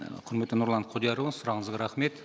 і құрметті нұрлан құдиярұлы сұрағыңызға рахмет